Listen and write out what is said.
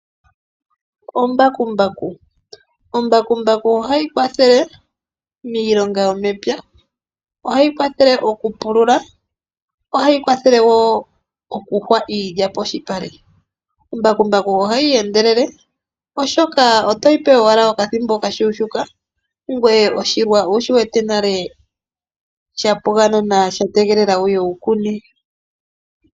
Ombakumbaku, ombakumbaku ohayi kwathele miilonga yomepya, ohayi kwathele okupulula, ohayi kwathele wo okuhwa iilya poshipale. Ombakumbaku ohayi endelele oshoka otoyi pe owala okathimbo okashuushuka ngoye oshilwa owu shi wete nale shapwa nawa sha tegelela wu kune.